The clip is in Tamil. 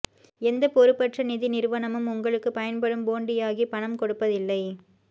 எந்தப் பொறுப்பற்ற நிதி நிறுவனமும் உங்களுக்குப் பயன்படும் போண்டியாகி பணம் கொடுப்பதில்லை